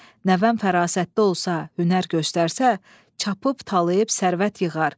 Nəvəm fərasətli olsa, hünər göstərsə, çapıb-talayıb sərvət yığar.